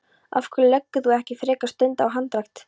Af hverju leggur þú ekki frekar stund á hundarækt?